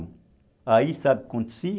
Aí sabe o que acontecia?